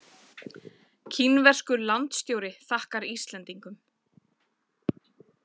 Kínverskur landstjóri þakkar Íslendingum